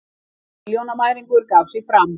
Nýr milljónamæringur gaf sig fram